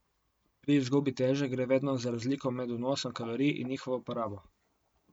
Pri izgubi teže gre vedno za razliko med vnosom kalorij in njihovo porabo.